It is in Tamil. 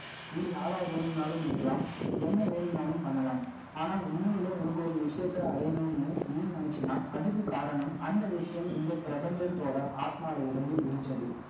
நீ, யாரா வேணும்னாலும் இருக்கலாம். என்ன வேணும்னாலும், பண்ணலாம். ஆனா, உண்மையில, உனக்கு, ஒரு விஷயத்த, அடையணும்ன்னு, நீ நினைச்சீன்னா, அதுக்கு காரணம், அந்த விஷயம், இந்த பிரபஞ்சத்தோட, ஆத்மால இருந்து, ஒழிச்சது